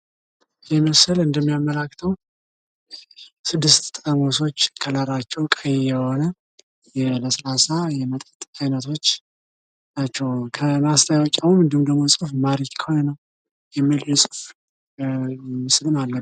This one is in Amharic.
ለስላሳ መጠጦች (ሶዳ) በስኳርና በካርቦን ዳይኦክሳይድ የበለፀጉ ሲሆን በልክ መጠጣት ይመከራል።